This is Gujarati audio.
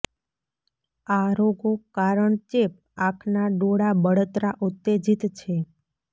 આ રોગો કારણ ચેપ આંખના ડોળા બળતરા ઉત્તેજિત છે